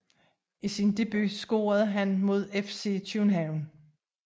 I sin debut scorede han mod FC København